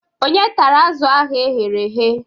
Ònye tara azụ̀ ahu eghere eghe?